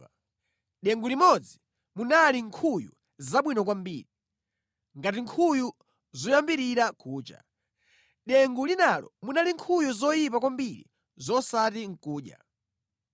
Mʼdengu limodzi munali nkhuyu zabwino kwambiri, ngati nkhuyu zoyambirira kucha. Mʼdengu linalo munali nkhuyu zoyipa kwambiri zosati nʼkudya.